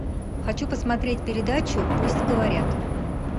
хочу посмотреть передачу пусть говорят